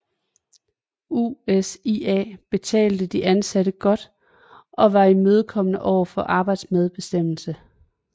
USIA betalte de ansatte godt og var imødekommende overfor arbejdermedbestemmelse